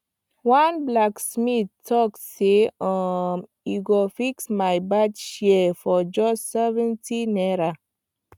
one blacksmith talk say um e go fix my bad shears for just 70 naira